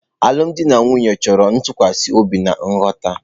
Alụmdi na nwunye chọrọ ntụkwasị obi na nghọta.